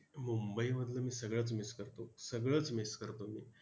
मुंबईमधलं मी सगळंच miss करतो, सगळंच miss करतो मी!